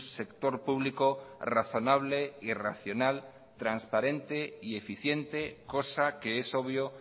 sector público razonable y racional transparente y eficiente cosa que eso obvio